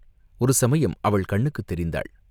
ஒருசமயம் அவள் கண்ணுக்குத் தெரிந்தாள்.